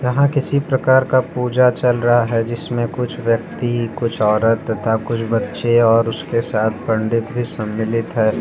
यहाँ किसी प्रकार का पूजा चल रहा है जिसमें कुछ व्यक्ति कुछ औरत तथा कुछ बच्चे और उसके साथ पंडित भी सम्मिलित है।